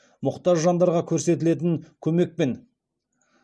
мұқтаж жандарға көрсетілетін көмекпен